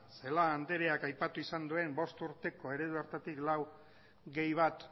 celaá andreak aipatu izan duen bost urteko eredu hartatik laubat